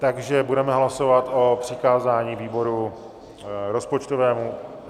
Takže budeme hlasovat o přikázání výboru rozpočtovému.